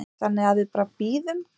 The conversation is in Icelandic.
Þannig að við bara bíðum.